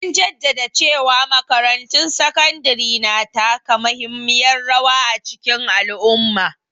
An jaddada cewa makarantun sakandare na taka muhimmiyar rawa a cikin al'umma.